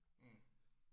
Mh